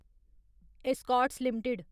Escorts limited